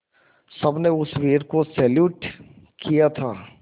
सबने उस वीर को सैल्यूट किया था